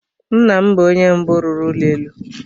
Nna m bụ onye mbụ rụrụ ụlọ elu.